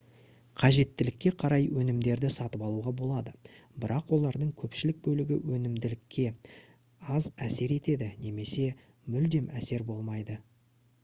қажеттілікке қарай өнімдерді сатып алуға болады бірақ олардың көпшілік бөлігі өнімділікке аз әсер етеді немесе мүлдем әсері болмайды